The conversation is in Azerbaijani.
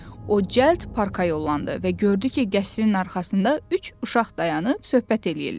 O cəld parka yollandı və gördü ki, qəsrin arxasında üç uşaq dayanıb söhbət eləyirlər.